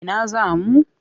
Ina za mu?